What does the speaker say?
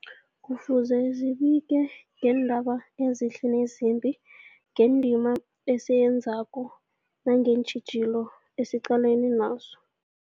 Kufuze zibike ngeendaba ezihle nezimbi, ngendima esiyenzako nangeentjhijilo esiqalene nazo.